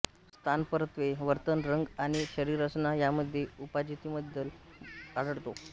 स्थानपरत्वे वर्तन रंग आणि शरीररचना यामध्ये उपजातींमध्ये बदल आढळतो